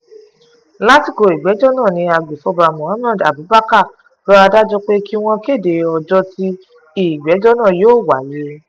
lásìkò ìgbẹ́jọ́ náà ni agbefọ́ba mohammed abubakar rọ adájọ́ pé kí wọ́n kéde ọjọ́ tí ìgbẹ́jọ́ náà yóò wáyé